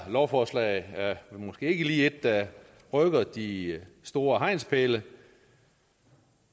lovforslag er måske ikke lige et der rykker de store hegnspæle